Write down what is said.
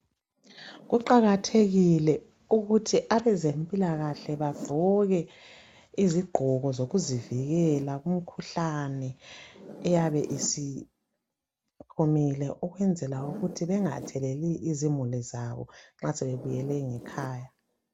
kuqakathekile ukuthi abezempilakahle bavoke izigqoko zokuzivikela imikhuhlane eyabe isiphumile ukwenzela ukuthi bengatheleli izimuli zabo nxa sebebuyele ngekhaya